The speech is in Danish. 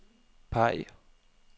peg